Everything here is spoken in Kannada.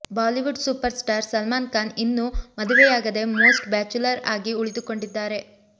Bollywood super star Salman Khan ಇನ್ನೂ ಮದುವೆಯಾಗದೇ ಮೋಸ್ಟ್ ಬ್ಯಾಚುಲರ್ ಆಗಿ ಉಳಿದುಕೊಂಡಿದ್ದಾರೆ